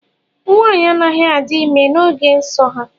Nwaanyị anaghị adị ime n’oge nso ha